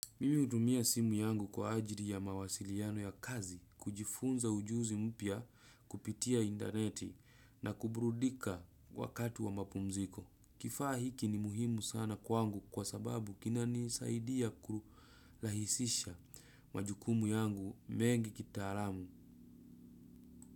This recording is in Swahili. Mimi hutumia simu yangu kwa ajili ya mawasiliano ya kazi, kujifunza ujuzi mpya kupitia intaneti na kuburudika wakati wa mapumziko. Kifaa hiki ni muhimu sana kwangu kwa sababu kinanisaidia kurahisisha majukumu yangu mengi kitaalamu.